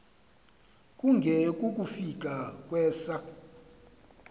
kunge kukufika kwesa